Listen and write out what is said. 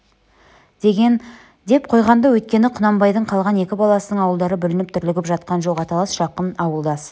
деген деп қойған-ды өйткені құнанбайдың қалған екі баласының ауылдары бүлініп дүрлігіп жатқан жоқ аталас жақын ауылдас